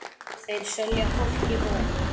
Þeir selja fólki von.